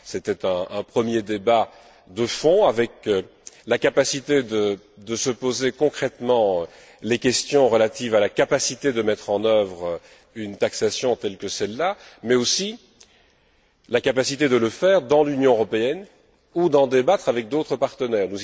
C'était un premier débat de fond permettant de se poser concrètement les questions relatives à la capacité de mettre en œuvre une taxation telle que celle là, mais aussi la capacité de le faire dans l'Union européenne ou d'en débattre avec d'autres partenaires.